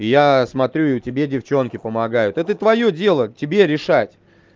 я смотрю и тебе девчонки помогают это твоё дело тебе решать